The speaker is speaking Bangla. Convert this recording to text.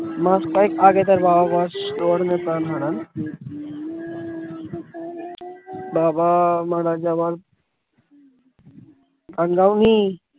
মাস কয়েক আগে তার বাবা প্রাণ হারান বাবা মারা যাওয়ার